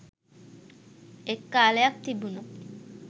එක් කාලයක් තිබුණා